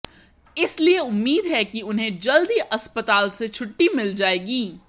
इसलिए उम्मीद है कि उन्हें जल्द ही अस्पताल से छुट्टी मिल जाएगी